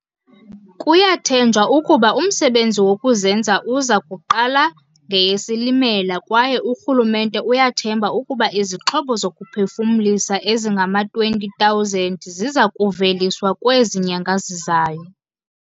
Kuyathenjwa ukuba umsebenzi wokuzenza uza kuqala ngeyeSilimela kwaye urhulumente uyathemba ukuba izixhobo zokuphefumlisa ezingama-20 000 ziza kuveliswa kwezi nyanga zizayo.